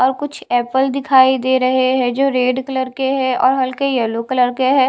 और कुछ एप्पल दिखाई दे रहे है जो रेड कलर के है और हल्के यल्लो कलर के है।